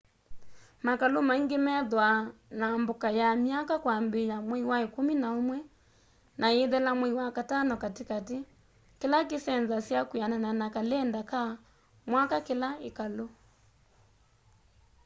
makalû maingî methwaa na mboka ya mwaka kwambîîya mwei wa îkûmî na ûmwe na îithela mwei wa katano katîkatî kîla kîsenzasya kwîanana na kalenda ka mwaka ka kîla îkalû